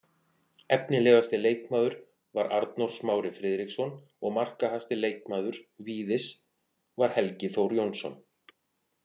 Efnilegasti leikmaður var Arnór Smári Friðriksson og markahæsti leikmaður Víðis var Helgi Þór Jónsson.